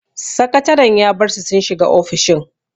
Sakataren ya bar su sun shiga ofishin.